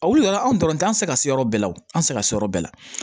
A wulila anw dɔrɔn tɛ an tɛ se ka se yɔrɔ bɛɛ la o an tɛ se ka se yɔrɔ bɛɛ la